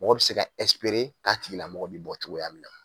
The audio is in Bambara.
Mɔgɔ be se ka nga tigilamɔgɔ be bɔ cogoya min na.